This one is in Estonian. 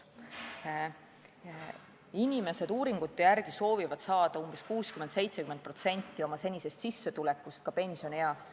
Inimesed soovivad uuringute järgi saada 60–70% oma senisest sissetulekust ka pensionieas.